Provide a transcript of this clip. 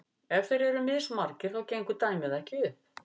ef þeir eru mismargir þá gengur dæmið ekki upp